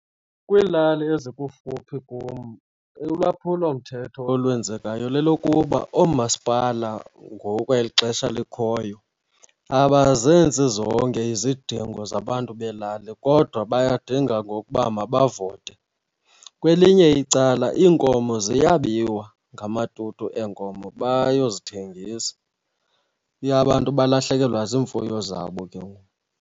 Kwiilali ezikufuphi kum, ulwaphulomthetho olwenzekayo lelokuba oomasipala ngoku kweli xesha likhoyo abazenzi zonke izidingo zabantu beelali kodwa bayadinga ngokuba mabavote. Kwelinye icala iinkomo ziyabiwa ngamatutu eenkomo bayozithengisa, abantu balahlekelwa ziimfuyo zabo ke ngoku.